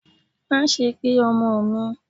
ma sé gbé omò mi!